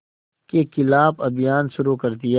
के ख़िलाफ़ अभियान शुरू कर दिया